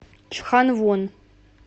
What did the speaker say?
чханвон